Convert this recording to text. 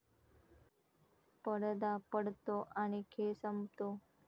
पडदा पडतो आणि खेळ संपतो.